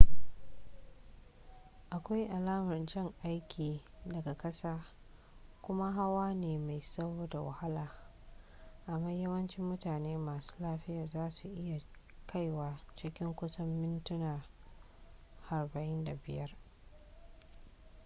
akwai alamar jan aiki daga ƙasa kuma hawa ne mai tsawo da wahala amma yawancin mutane masu lafiya za su iya kaiwa cikin kusan mintuna 45